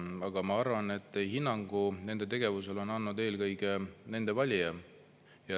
Aga ma arvan, et hinnangu nende tegevusele on andnud eelkõige nende valija.